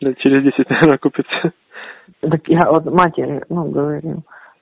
лет через десять наверное окупится так я матери ну говорил